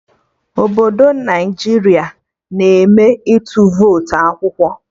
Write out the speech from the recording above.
Obodo Naijiria na eme ịtụ votu akwụkwọ